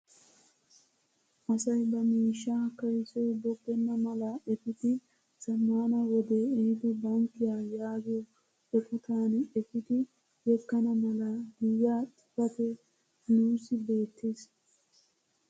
Asay ba miishshaa kaysoy bogenna mala epiidi zammaana wodee ehiido bankkiyaa yaagiyoo eqotaan epiidi yeggana mala giyaa xifatee nuusi beettees.